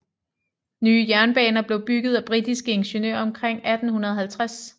Nye jernbaner blev bygget af britiske ingeniører omkring 1850